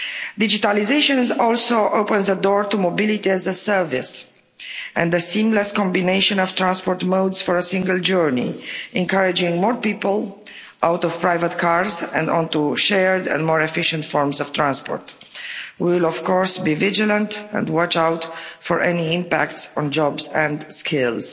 Digitalisation also opens the door to mobility as a service and the seamless combination of transport modes for a single journey, encouraging more people out of private cars and onto shared and more efficient forms of transport. We will, of course, be vigilant and watch out for any impact on jobs and skills.